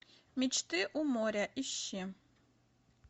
мечты у моря ищи